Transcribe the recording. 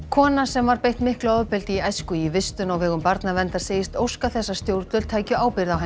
kona sem var beitt miklu ofbeldi í æsku í vistun á vegum barnaverndar segist óska þess að stjórnvöld tækju ábyrgð á